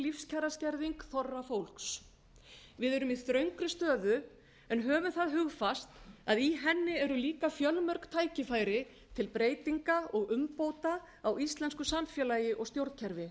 lífskjaraskerðing þorra fólks við erum í þröngri stöðu en höfum það hugfast að í henni eru líka fjölmörg tækifæri til breyting og umbóta á íslensku samfélagi og stjórnkerfi